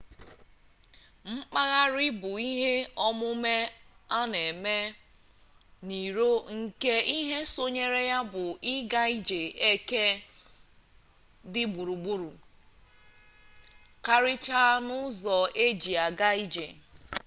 mkpagharị bụ ihe omume anm na eme n'iro nke ihe sonyeere ya bụ ịga ije eke dị gburugburu karicha n'ụzọ eji aga ije